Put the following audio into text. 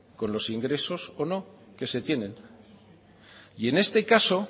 con los ingresos o no que se tienen y en este caso